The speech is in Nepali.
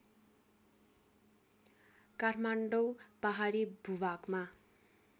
काठमाडौँ पहाडी भूभागमा